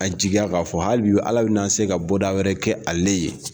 A jigiya k'a fɔ hali bi Ala bɛ na se ka bɔda wɛrɛ kɛ ale ye.